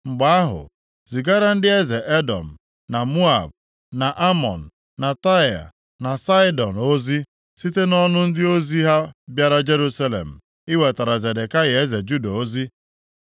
Mgbe ahụ, zigara ndị eze Edọm, na Moab, na Amọn, na Taịa, na Saịdọn ozi site nʼọnụ ndị ozi ha bịara Jerusalem iwetara Zedekaya eze Juda ozi.